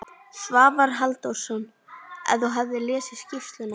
Svavar Halldórsson: En þú hafðir lesið skýrsluna?